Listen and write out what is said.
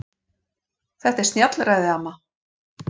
Þetta er snjallræði amma.